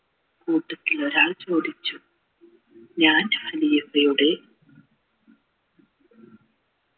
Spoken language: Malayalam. കൂട്ടത്തിൽ ഒരാൾ ചോദിച്ചു ഞാൻ യുടെ